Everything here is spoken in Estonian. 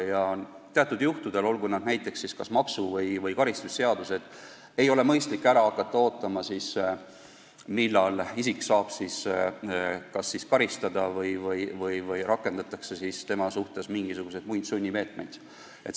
Ja teatud juhtudel, olgu tegu näiteks maksu- või karistusseadustega, ei ole mõistlik jääda ootama, millal isik saab karistada või rakendatakse tema suhtes muid sunnimeetmeid.